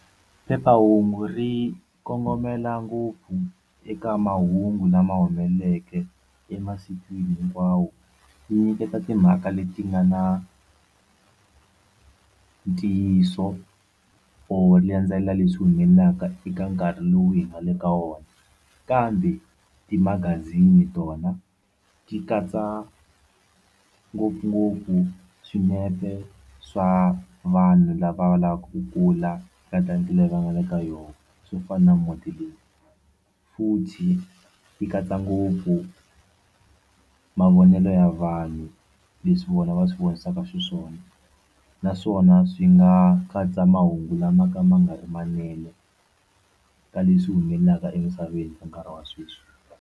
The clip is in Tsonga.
Phephahungu ri kongomela ngopfu eka mahungu lama humeleleke emasikwini hinkwawo yi nyiketa timhaka leti nga na ntiyiso or landzelela leswi humelelaka eka nkarhi lowu hi nga le ka wona kambe timagazini tona ti katsa ngopfungopfu swinepe swa vanhu lava va lavaku ku kula ka leyi va nga le ka yona swo fana na muti leyi futhi ti katsa ngopfu mavonelo ya vanhu leswi vona va swi vonisaka xiswona naswona swi nga katsa mahungu lama ka ma nga ri ki manene ka leswi humelelaka emisaveni nkarhi wa sweswi.